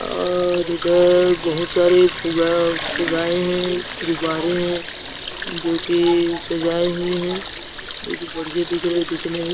और इधर बहुत सारे फुग्गा फुगाए हैं गुब्बारे हैं जो कि सजाए हुए हैं जो कि बढ़िया दिख रहे है दिखने में --